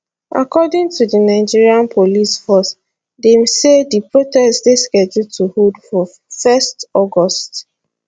according to di nigeria police force dem say di protest dey scheduled to hold for 1 august